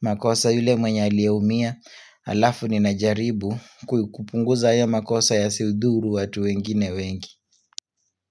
makosa yule mwenye aliyeumia, alafu nina jaribu kupunguza hiyo makosa yasidhuru watu wengine wengi.